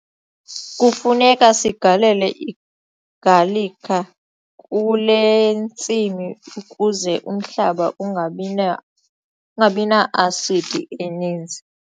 Kufuneka sigalele igalika kule ntsimi ukuze umhlaba ungabi ne ungabi na-asidi eninzi.